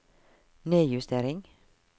nedjustering